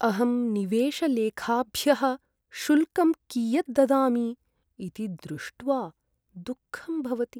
अहं निवेशलेखाभ्यः शुल्कं कियत् ददामि इति दृष्ट्वा दुःखं भवति।